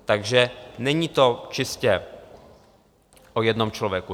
Takže není to čistě o jednom člověku.